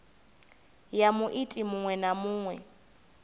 ya muiti muṅwe na muṅwe